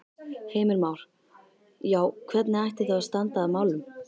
Heimir Már: Já, hvernig ætti þá að standa að málum?